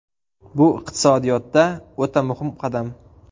Bu iqtisodiyotda o‘ta muhim qadam.